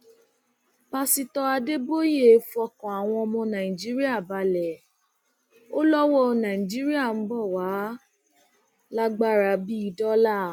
pásítọ adéboye fọkàn àwọn ọmọ nàìjíríà balẹ ò lọwọ náírà ń bọ wàá lágbára bíi dọlà